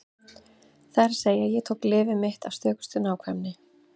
Það er að segja: Ég tók lyfið mitt af stökustu nákvæmni.